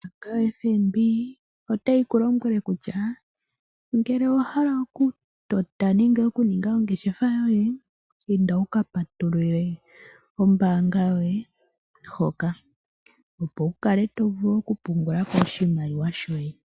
Ombaanga yo FNB otayi kulombwele kutya, ngele owahala oku tota nenge okuninga ongeshefa yoye ,inda wuka patulule ombaanga yoye hoka opo wuvule oku pungulako oshimaliwa shoye.